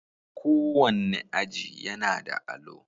Kowanne aji yAnada alo